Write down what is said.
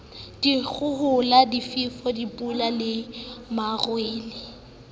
dikgohola difefo dipula le marole